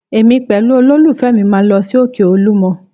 Èmi pẹ̀lú olólùfẹ́ mi máa lọ sí òkè Olúmọ